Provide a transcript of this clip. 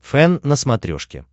фэн на смотрешке